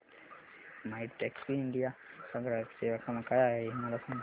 My Taxi India चा ग्राहक सेवा क्रमांक काय आहे मला सांग